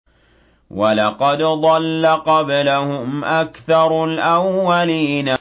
وَلَقَدْ ضَلَّ قَبْلَهُمْ أَكْثَرُ الْأَوَّلِينَ